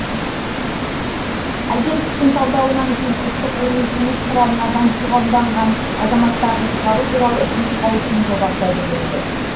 агенттіктің талдауынан кейін ұлттық ғылыми кеңес құрамына заңсыз қабылданған азаматтарды шығару туралы үкімет қаулысының жобасы әзірленген